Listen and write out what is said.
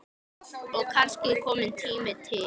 Og kannski kominn tími til.